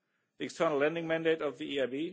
the External Lending Mandate of the ECB